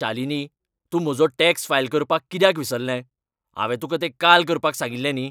शालिनी, तूं म्हजो tax file करपाक कित्याक विसरलें? हांवें तुका तें काल करपाक सांगिल्लें न्ही?